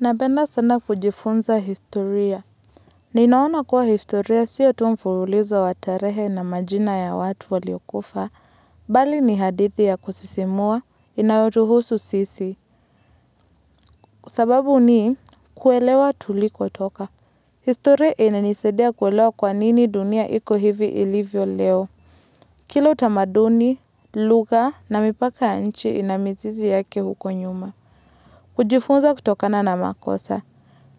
Napenda sana kujifunza historia. Ninaona kuwa historia siya tu mfurulizo watarehe na majina ya watu waliokufa. Bali ni hadithi ya kusisimua inaotuhusu sisi. Sababu nikuelewa tuliko toka. Historia inanisedia kuelewa kwa nini dunia iko hivi ilivyo leo. Kila utamaduni, luga na mipaka ya nchi ina mizizi yake huko nyuma. Kujifunza kutokana na makosa.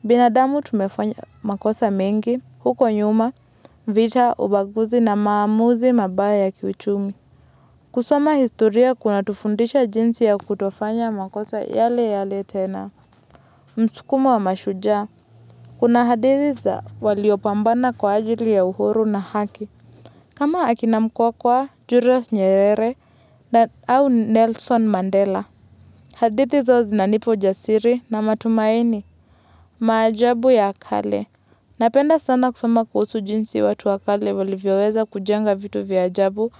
Binadamu tumefanya makosa mingi, huko nyuma, vita, ubaguzi na maamuzi mabaya kiuchumi. Kusoma historia kuna tufundisha jinsi ya kutofanya makosa yale yale tena. Msukumo wa mashuja, kuna hadithi za waliopambana kwa ajili ya uhuru na haki. Kama akinamkua kwa Julius Nyerere au Nelson Mandela. Hadithi zao zina nipa ujasiri na matumaini, maajabu ya kale. Napenda sana kusoma kuhusu jinsi watu wakale walivyoweza kujenga vitu vya jabu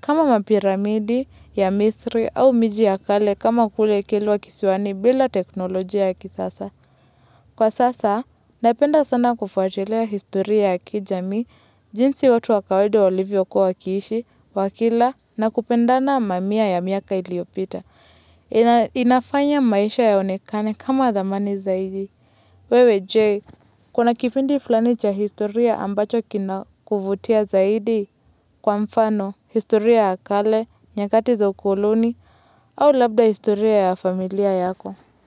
kama mapiramidi ya misri au miji wakale kama kule kilwa kisiwani bila teknolojia ya kisasa. Kwa sasa, napenda sana kufuatilia historia ya kijami, jinsi watu wakawede walivyo kua wakiishi, wakila na kupendana mamia ya miaka iliopita. Inafanya maisha yaonekane kama dhamani zaidi. Wewe je, kuna kipindi fulani cha historia ambacho kina kuvutia zaidi kwa mfano, historia ya kale, nyakati za ukoloni, au labda historia ya familia yako.